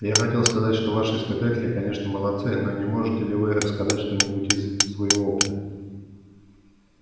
я хотел сказать что ваши испытатели конечно молодцы но не можете ли вы рассказать что-нибудь из своего опыта